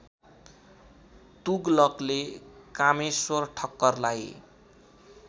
तुगलकले Kameshwar ठक्करलाई